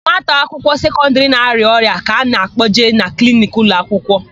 Nwata akwụkwọ sekọndịrị na-arịa ọrịa ka a na-akpọje na kliniki ụlọakwụkwọ.